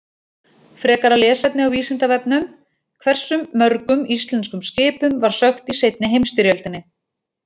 Frekara lesefni á Vísindavefnum: Hversu mörgum íslenskum skipum var sökkt í seinni heimsstyrjöldinni?